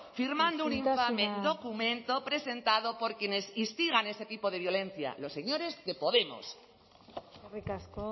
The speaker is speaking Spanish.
firmando un infame documento presentado por quienes instigan ese tipo de violencia los señores de podemos eskerrik asko